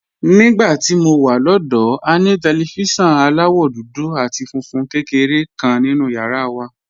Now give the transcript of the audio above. Nígbà tí mo wà lọ́dọ̀ọ́, a ní tẹlifíṣọ̀n aláwọ̀ dúdú àti funfun kékeré kan nínú yàrá wa.